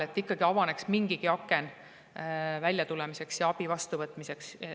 Et ikkagi avaneks mingigi aken väljatulemiseks ja abi vastuvõtmiseks.